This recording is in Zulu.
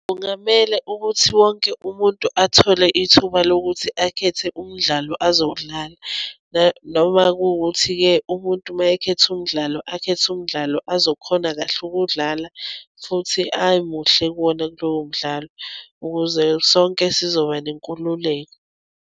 Kungamele ukuthi wonke umuntu athole ithuba lokuthi akhethe umdlalo azowudlala noma kuwukuthi-ke umuntu uma ekhethe umdlalo akhethe umdlalo azokhona kahle ukuwudlala futhi amuhle kuwona lowo mdlalo ukuze sonke sizoba nenkululeko.